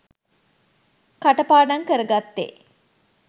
කටපාඩං කරගත්තේ